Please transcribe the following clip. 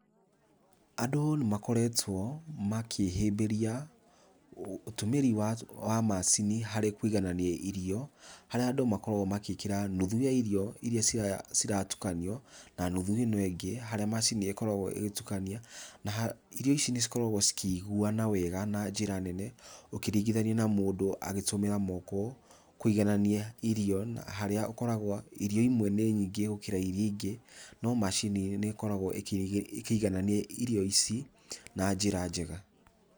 Andũ nĩ makoretwo makĩhĩbĩria ũtũmĩri wa wa macini harĩ kwĩiganania irio, harĩa andũ makoragwo magĩkĩra nuthu yario iria ciya iria ciratukanio, na nuthu ĩno angĩ, harĩa macini ĩkoragwo ĩgĩtukania, naha irio ici nĩ cikoragwo cikĩiguana wega na njĩra nene, ũkĩringithania na mũndũ agĩtũmĩra moko kũiganania irio, harĩa ũkoragwo irio imwe nĩ nyingĩ gũkĩra iria ingĩ, no macini nĩ ĩkoragwo ĩkĩgĩ ĩkĩiganania irio ici na njĩra njega.